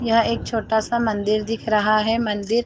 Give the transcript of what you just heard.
यह एक छोटा सा मंदिर दिख रहा है मंदिर --